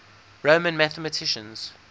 roman mathematics